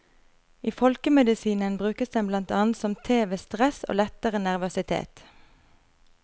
I folkemedisinen brukes den blant annet som te ved stress og lettere nervøsitet.